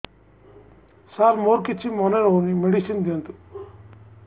ସାର ମୋର କିଛି ମନେ ରହୁନି ମେଡିସିନ ଦିଅନ୍ତୁ